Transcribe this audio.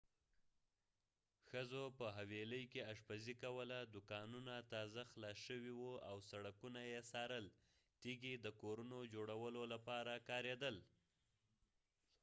ښځو په حویلۍ کې اشپزي کوله دوکانونه تازه خلاص شوي وو او سړکونه یې څارل تیږې د کورونو جوړولو لپاره کاریدل